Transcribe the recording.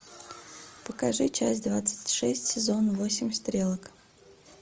покажи часть двадцать шесть сезон восемь стрелок